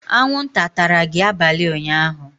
anwụnta atara gị abalị ụnyaahụ?